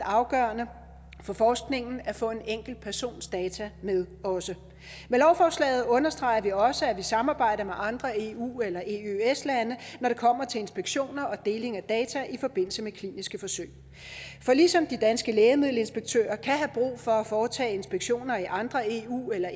afgørende for forskningen at få en enkelt persons data med også med lovforslaget understreger vi også at vi samarbejder med andre eu eller eøs lande når det kommer til inspektion og deling af data i forbindelse med kliniske forsøg for ligesom de danske lægemiddelinspektører kan have brug for at foretage inspektioner i andre eu eller